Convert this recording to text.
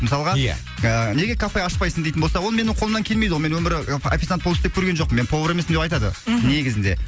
мысалға иә ы неге кафе ашпайсың дейтін болса ол менің қолымнан келмейді ғой мен өмірі официант болып істеп көрген жоқпын мен повар емеспін деп айтады мхм негізінде